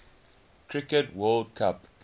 cricket world cup